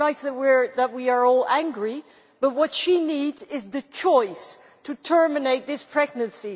It is nice that we are all angry but what she needs is the choice to terminate this pregnancy.